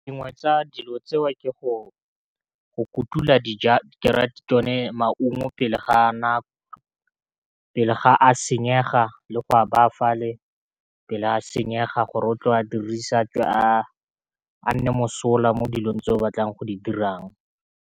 Dingwe tsa dilo tseo ke go kutula dija tsone maungo pele ga nako, pele ga a senyega le go a baya fale pele a senyega gore o tlo a dirisa gore a tswe a nne mosola mo dilong tse o batlang go di dirang.